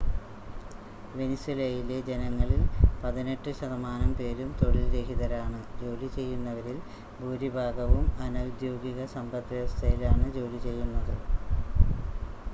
വെനിസ്വേലയിലെ ജനങ്ങളിൽ പതിനെട്ട് ശതമാനം പേരും തൊഴിൽ രഹിതരാണ് ജോലി ചെയ്യുന്നവരിൽ ഭൂരിഭാഗവും അനൗദ്യോഗിക സമ്പദ്‌വ്യവസ്ഥയിലാണ് ജോലി ചെയ്യുന്നത്